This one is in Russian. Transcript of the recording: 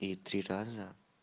и три раза